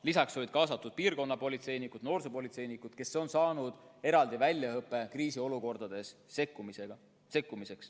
Lisaks olid kaasatud piirkonnapolitseinikud ja noorsoopolitseinikud, kes on saanud eraldi väljaõppe kriisiolukordades sekkumiseks.